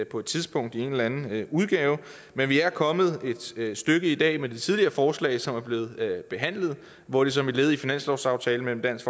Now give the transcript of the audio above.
på et tidspunkt i en eller anden udgave men vi er kommet et stykke i dag med det tidligere forslag som er blevet behandlet hvor det som et led i finanslovsaftalen mellem dansk